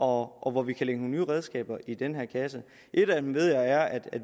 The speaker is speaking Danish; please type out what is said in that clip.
hvor vi kan lægge nogle nye redskaber i den her kasse et af dem ved jeg er at